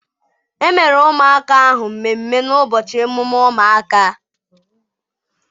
Emere ụmụaka ahụ mmemmé n'ụbọchị emume ụmụaka.